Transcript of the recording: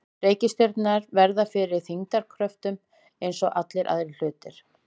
Reikistjörnurnar verða fyrir þyngdarkröftum eins og allir aðrir hlutir.